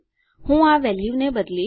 હું આ વેલ્યુને બદલીશ